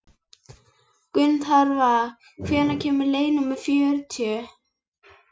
Gunnharða, hvenær kemur leið númer fjörutíu?